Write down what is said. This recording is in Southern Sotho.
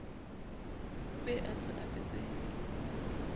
be a se a betsehile